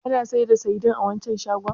Ana sayar da saidin a waccan shagon?